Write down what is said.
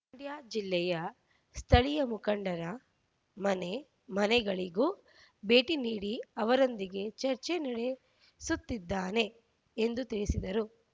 ಮಂಡ್ಯ ಜಿಲ್ಲೆಯ ಸ್ಥಳೀಯ ಮುಖಂಡರ ಮನೆ ಮನೆಗಳಿಗೂ ಭೇಟಿ ನೀಡಿ ಅವರೊಂದಿಗೆ ಚರ್ಚೆ ನಡೆಸುತ್ತಿದ್ದೇನೆ ಎಂದು ತಿಳಿಸಿದರು